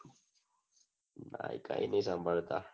કાઈ કાઈ ની સાભળતા